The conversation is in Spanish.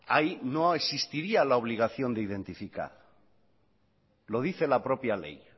ahí no existiría la obligación de identificar lo dice la propia ley